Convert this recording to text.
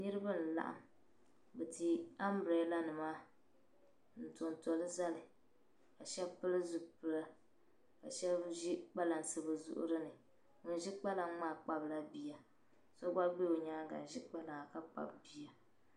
Niribi n-laɣim nti ambilela nima ntontolizali kasheb pili zipila kasheb zi kpansi bɛzuɣrini. ŋun.ʒi kpalaŋmaa kpabla biya so gba bɛ onyaaga n zi kpalaŋa ka Kpabi biya.